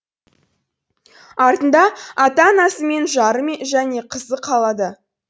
артында ата анасы мен жары және қызы қалды